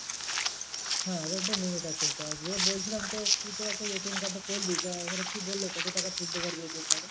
হ্যাঁ এদের একটা limit আছে। তা যে বলছিলাম তো তুই তো ATM card তো করলি তা ওখানে কি বললো কত টাকা তুলতে পারবি ATM card এ?